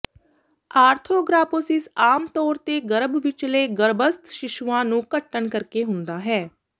ਆਰਥੋਗਰਾਪੋਸਿਸ ਆਮ ਤੌਰ ਤੇ ਗਰਭ ਵਿਚਲੇ ਗਰੱਭਸਥ ਸ਼ੀਸ਼ੂਆਂ ਨੂੰ ਘਟਣ ਕਰਕੇ ਹੁੰਦਾ ਹੈ